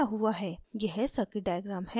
यह circuit diagram है